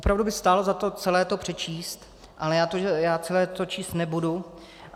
Opravdu by stálo za to celé to přečíst, ale já to celé číst nebudu.